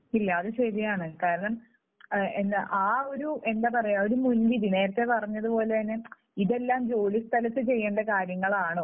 ഇല്ല അത് ശരിയാണ്. കാരണം എന്നാ, ആ ഒരു എന്താ പറയുക ഒരു മുൻവിധി, നേരത്തെ പറഞ്ഞതുപോലെ തന്നെ ഇതെല്ലാം ജോലിസ്ഥലത്ത് ചെയ്യേണ്ട കാര്യങ്ങളാണോ?